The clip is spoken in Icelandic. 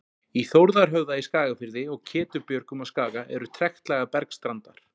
Í Þórðarhöfða í Skagafirði og Ketubjörgum á Skaga eru trektlaga bergstandar.